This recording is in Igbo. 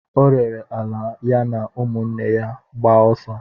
O rere ala ya na ụmụnne ya gbaa ọsọ.